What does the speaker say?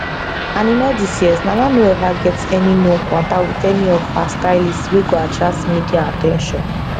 and in all these years nana no ever get any known kwanta wit any of her stylists wey go attract media at ten tion